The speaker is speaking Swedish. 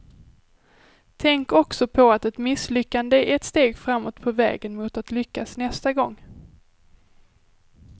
Tänk också på att ett misslyckande är ett steg framåt på vägen mot att lyckas nästa gång.